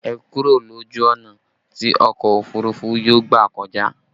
Ẹ kúrò lójú ọ̀nà tí ọkọ òfurufú yóò gbà kọjá!